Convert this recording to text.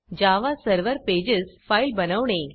जावा server pages file बनवणे